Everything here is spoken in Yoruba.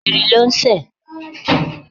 Ìrì ló ń sẹ̀.